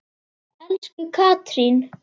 Elsku Katrín.